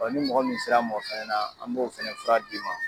ni mɔgɔ min sera n ma o fɛnɛ na an m'o fɛnɛ fura d'i ma.